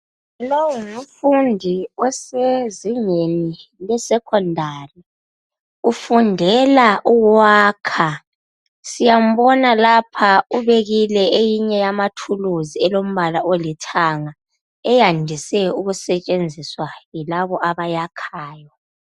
Lowu ngumfundi osezingeni le secondary, ufundela ukwakha. Siyambona lapha ubekile eyinye yamathuluzi elombala olithanga eyandise ukusetshenziswa yilabo abayakhayo.